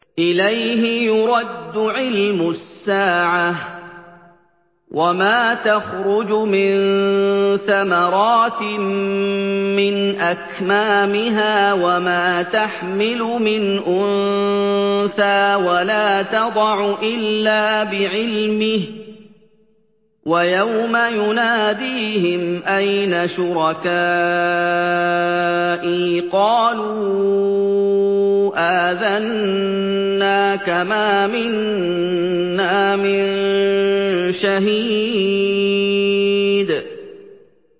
۞ إِلَيْهِ يُرَدُّ عِلْمُ السَّاعَةِ ۚ وَمَا تَخْرُجُ مِن ثَمَرَاتٍ مِّنْ أَكْمَامِهَا وَمَا تَحْمِلُ مِنْ أُنثَىٰ وَلَا تَضَعُ إِلَّا بِعِلْمِهِ ۚ وَيَوْمَ يُنَادِيهِمْ أَيْنَ شُرَكَائِي قَالُوا آذَنَّاكَ مَا مِنَّا مِن شَهِيدٍ